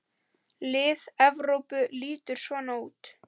Lið Evrópu lítur svona út